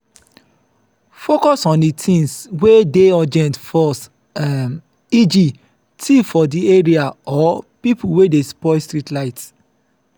focus on di things wey dey urgent first um eg thief for di area or pipo wey dey spoil street light